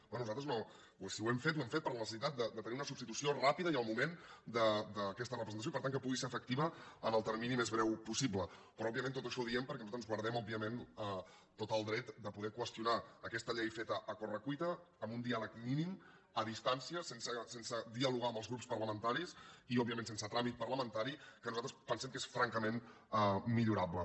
bé nosaltres no si ho hem fet ho hem fet per la necessitat de tenir una substitució ràpida i al moment d’aquesta representació i per tant que pugui ser efec·tiva en el termini més breu possible però òbviament tot això ho diem perquè nosaltres ens guardem tot el dret de poder qüestionar aquesta llei feta a corre·cui·ta amb un diàleg mínim a distància sense dialogar amb els grups parlamentaris i òbviament sense trà·mit parlamentari que nosaltres pensem que és franca·ment millorable